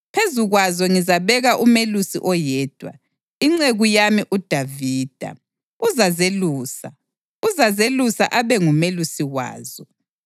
Phezu kwazo ngizabeka umelusi oyedwa, inceku yami uDavida, uzazelusa; uzazelusa abe ngumelusi wazo.